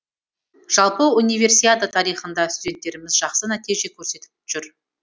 жалпы универсиада тарихында студенттеріміз жақсы нәтиже көрсетіп жүр